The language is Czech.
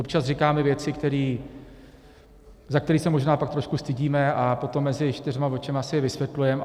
Občas říkáme věci, za které se možná tak trošku stydíme, a potom mezi čtyřma očima si je vysvětlujeme.